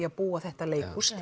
að byggja þetta leikhús